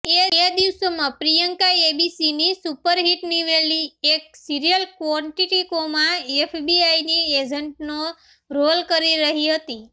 એ દિવસોમાં પ્રિયંકા એબીસીની સુપરહિટ નીવડેલી એક સિરિયલ ક્વોન્ટિકોમાં એફબીઆઇની એજન્ટનો રોલ કરી રહી હતી